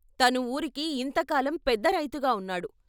తను వూరికి ఇంత కాలం పెద్ద రైతుగా ఉన్నాడు.